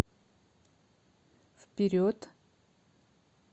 вперед